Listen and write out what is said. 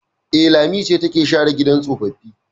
E, Lami ce take share gidan tsofaffi.